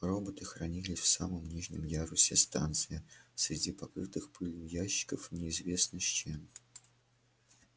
роботы хранились в самом нижнем ярусе станции среди покрытых пылью ящиков неизвестно с чем